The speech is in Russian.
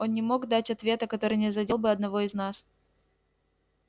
он не мог дать ответа который не задел бы одного из нас